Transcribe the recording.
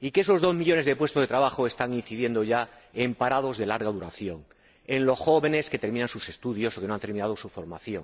y que esa pérdida de dos millones de puestos de trabajo está afectando ya a parados de larga duración y a los jóvenes que terminan sus estudios o que no han terminado su formación.